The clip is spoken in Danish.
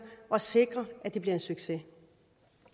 og sikrer at det bliver en succes